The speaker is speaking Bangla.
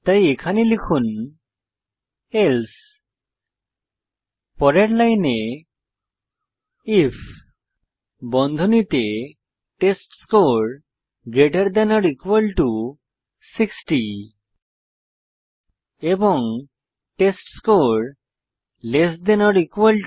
তাই এখানে লিখুন এলসে পরের লাইনে আইএফ বন্ধনীতে টেস্টস্কোর 60 এবং টেস্টস্কোর 70